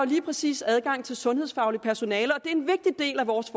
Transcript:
lige præcis adgang til sundhedsfagligt personale det er en vigtig del af vores